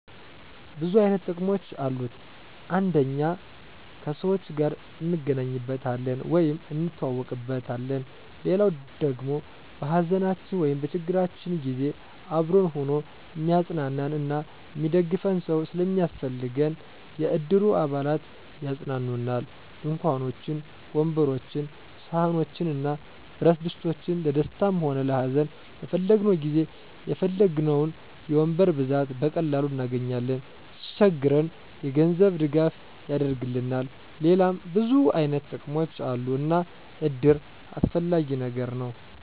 ብዙ አይነት ጥቅሞች አሉት አንደኛ ከሰዎች ጋር እንገናኝበታለን ወይም እንተዋወቅበታለን። ሌላዉ ደሞ በሀዘናችን ወይም በችግራችን ጊዜ አብሮን ሁኖ እሚያፅናናን እና እሚደግፈን ሰዉ ስለሚያስፈልገን የእድሩ አባላት ያፅናኑናል፣ ድንኳኖችን፣ ወንበሮችን፣ ሰሀኖችን እና ብረትድስቶችን ለደስታም ሆነ ለሀዘን በፈለግነዉ ጊዜ የፈለግነዉን የወንበር ብዛት በቀላሉ እናገኛለን። ሲቸግረን የገንዘብ ድጋፍ ያደርግልናል ሌላም ብዙ አይነት ጥቅሞች አሉ እና እድር አስፈላጊ ነገር ነዉ።